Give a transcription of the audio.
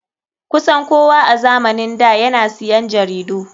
Kusan kowa a zamanin da yana siyan jaridu.